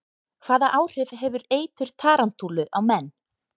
Hvaða áhrif hefur eitur tarantúlu á menn?